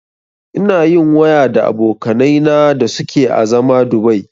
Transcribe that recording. Ina yin waya da abokanai na da suke a zama Dubai